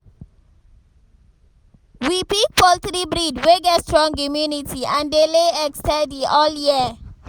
we pick poultry breed wey get strong immunity and dey lay egg steady all year.